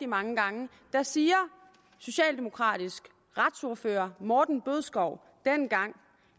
mange gange siger socialdemokratisk retsordfører herre morten bødskov dengang